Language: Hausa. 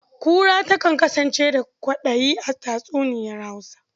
Kura takan kasance da ƙwaɗayi a tatsuniyar Hausa.